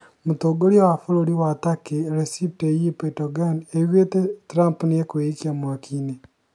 Mũtongoria wa bũrũri wa Turkey Recep Tayyip Erdogan augite" Trump egweikia mwakinĩ"